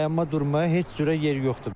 Dayanma durmaya heç cürə yer yoxdur.